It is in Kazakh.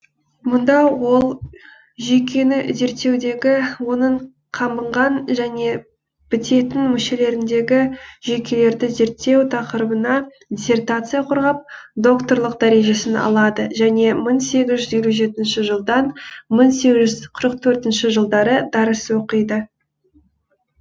мұнда ол жүйкені зерттеудегі оның қабынған және бітетін мүшелеріндегі жүйкелерді зерттеу тақырыбына диссертация қорғап докторлық дәрежесін алады және мың сегіз жүз елу жетінші жылдан мың сегіз жүз алпыс төртінші жылдары дәріс оқиды